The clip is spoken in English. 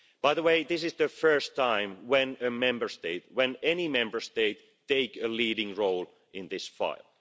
By the way, this is the first time that a Member State any Member State takes a leading role in this file.